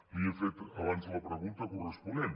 li he fet abans la pregunta corresponent